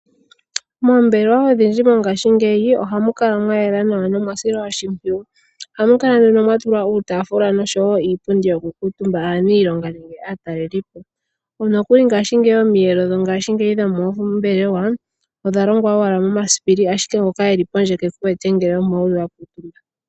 Moombelewa odhindji mongashingeyi ohamu kala mwa yela nawa nomwa silwa oshimpwiyu. Ohamu kala nduno mwa tulwa uutafula noshowo iipundi yokukuutumba aanilonga nenge aatalelipo. Nokuli ngashingeyi omiyelo dhongashigeyi dhoombelewa odha longwa owala momasipili ashike ngoka e li pondje keku wete ngele omo wu li wa kutumba.